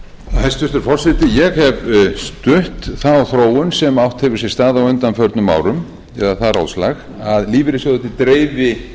hæstvirtur forseti ég hef stutt þá þróun sem átt hefur sér stað á undanförnum árum eða það ráðslag að lífeyrissjóðirnir dreifi